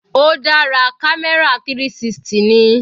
Ó dára, camera 360 ni.